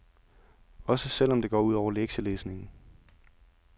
Også selv om det går ud over lektielæsningen.